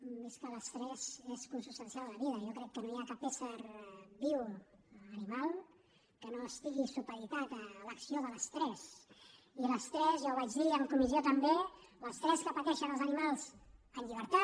i és que l’estrès és consubstancial a la vida jo crec que no hi ha cap ésser viu animal que no estigui supeditat a l’acció de l’estrès i l’estrès ja ho vaig dir en comissió també que pateixen els animals en llibertat